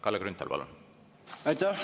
Kalle Grünthal, palun!